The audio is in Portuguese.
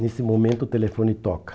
Nesse momento o telefone toca.